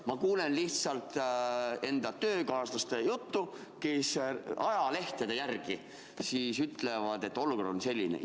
Ma kuulen lihtsalt enda töökaaslaste juttu, kes ajalehtede põhjal ütlevad, et olukord on selline.